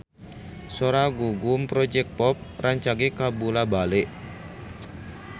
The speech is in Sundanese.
Sora Gugum Project Pop rancage kabula-bale